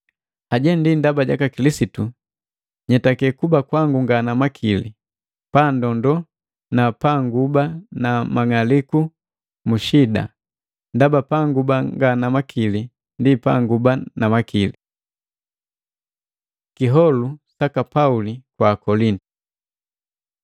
Haje ndi ndaba jaka Kilisitu, nyetake kuba kwangu nga na makili, paandondo na panguba na mang'aliku mu shida, ndaba panguba nga na makili ndi panguba na makili. Kiholu saka Pauli kwa Akolintu